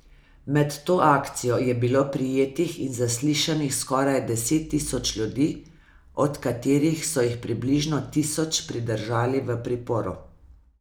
Med to akcijo je bilo prijetih in zaslišanih skoraj deset tisoč ljudi, od katerih so jih približno tisoč pridržali v priporu.